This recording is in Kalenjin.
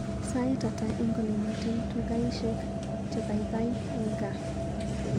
Sait ata eng olemiten tukaishek chegoigoi eng gaa